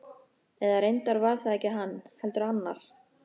Eða reyndar var það ekki hann, heldur annar.